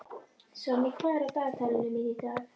Sonný, hvað er á dagatalinu mínu í dag?